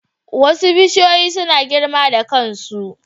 Wasu bishiyoyi suna girma da kansu.